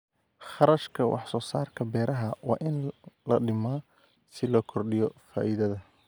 Kharashka Wax-soo-saarka Beeraha waa in la dhimaa si loo kordhiyo faa'iidada.